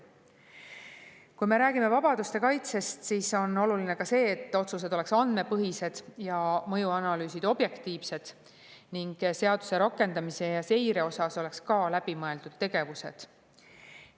Kui me räägime vabaduste kaitsest, siis on oluline ka see, et otsused oleks andmepõhised ja mõjuanalüüsid objektiivsed ning seaduse rakendamiseks ja seireks oleks ka läbimõeldud tegevused.